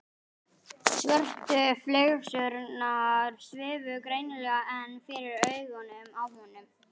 Svörtu flygsurnar svifu greinilega enn fyrir augunum á honum.